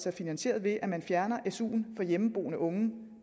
er finansieret ved at man fjerner su’en for hjemmeboende unge det